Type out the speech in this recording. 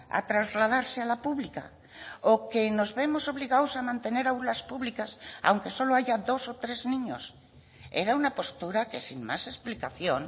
a trasladarse a la pública o que nos vemos obligados a mantener aulas públicas aunque solo haya dos o tres niños era una postura que sin más explicación